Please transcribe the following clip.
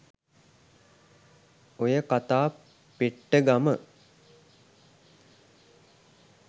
ඔය කතා පෙට්ටගම